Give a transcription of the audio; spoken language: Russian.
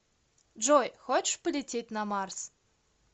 джой хочешь полететь на марс